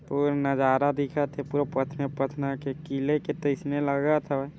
पूर नजारा दिखत हे पूरे पथने-पथना के किले के तइसने लगत हवय।